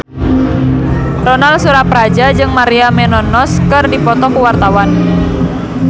Ronal Surapradja jeung Maria Menounos keur dipoto ku wartawan